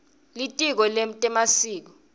litiko letemasiko